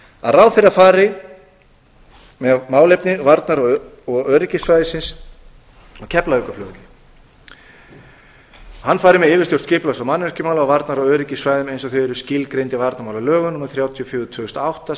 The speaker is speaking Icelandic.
að ráðherra er fer með málefni varnar og öryggissvæða fari með yfirstjórn skipulags og mannvirkjamála á varnar og öryggissvæðum eins og þau eru skilgreind í varnarmálalögum númer þrjátíu og fjögur tvö þúsund og átta